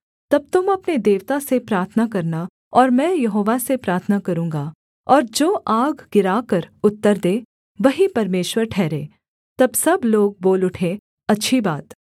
तब तुम अपने देवता से प्रार्थना करना और मैं यहोवा से प्रार्थना करूँगा और जो आग गिराकर उत्तर दे वही परमेश्वर ठहरे तब सब लोग बोल उठे अच्छी बात